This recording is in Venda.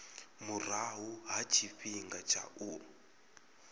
murahu ha tshifhinga tsha u